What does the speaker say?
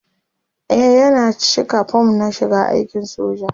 e Yana cika form na shiga aikin soja